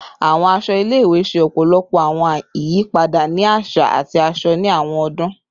Awọn aṣọ ile-iwe ṣe ọpọlọpọ awọn iyipada ni aṣa ati aṣọ ni awọn ọdun